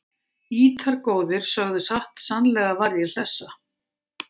Ýtar góðir sögðu satt sannlega varð ég hlessa